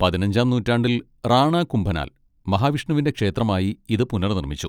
പതിനഞ്ചാം നൂറ്റാണ്ടിൽ റാണ കുംഭനാൽ മഹാവിഷ്ണുവിന്റെ ക്ഷേത്രമായി ഇത് പുനർനിർമ്മിച്ചു.